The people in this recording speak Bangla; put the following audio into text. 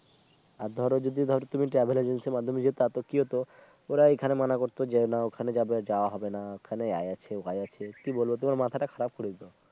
হাত ধরো যদি ধরো তুমি travel agency ইর মাধ্যমে জেতা তো কি হতো ওরা এখানে মান করত যেও না ওখানে যাবে যাওয়া হবে না ওখানে আছে ওই আছে কি বলবো তোমার মাথাটা খারাপ করে দিত